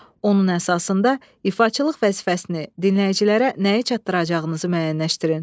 Onun əsasında ifaçılıq vəzifəsini dinləyicilərə nəyi çatdıracağınızı müəyyənləşdirin.